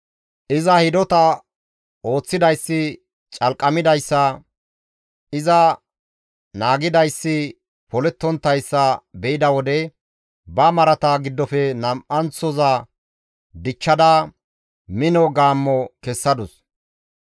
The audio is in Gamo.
« ‹Iza hidota ooththidayssi calqamidayssa, iza naagidayssi polettonttayssa be7ida wode, ba marata giddofe nam7anththoza dichchada, mino gaammo kessadus.